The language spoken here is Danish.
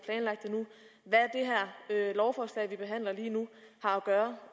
lovforslag som vi behandler lige nu har at gøre